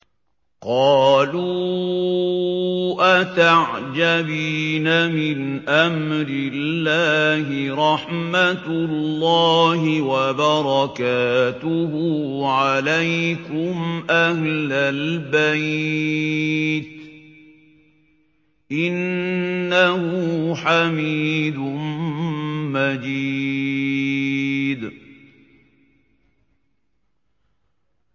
قَالُوا أَتَعْجَبِينَ مِنْ أَمْرِ اللَّهِ ۖ رَحْمَتُ اللَّهِ وَبَرَكَاتُهُ عَلَيْكُمْ أَهْلَ الْبَيْتِ ۚ إِنَّهُ حَمِيدٌ مَّجِيدٌ